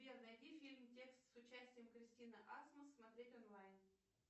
сбер найди фильм текст с участием кристины асмус смотреть онлайн